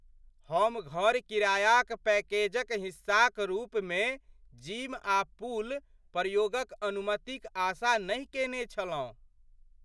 हम घर किराया पैकेजक हिस्साक रूपमे जिम आ पूल प्रयोगक अनुमतिक आशा नहि केने छलहुँ।